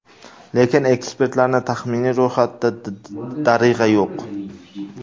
Lekin ekspertlarning taxminiy ro‘yxatida Darig‘a yo‘q.